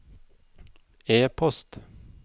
e-post